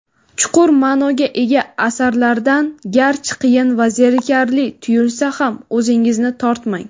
chuqur ma’noga ega asarlardan (garchi qiyin va zerikarli tuyulsa ham) o‘zingizni tortmang.